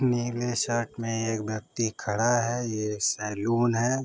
नीले शर्ट में एक व्यक्ति खड़ा है। ये सैलून है।